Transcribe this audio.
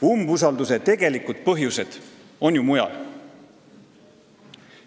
Umbusaldusavalduse tegelikud põhjused on ju mujal.